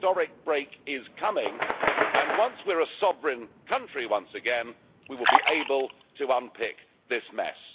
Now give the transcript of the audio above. The historic break is coming, and once we're a sovereign country once again we will be able to unpick this mess.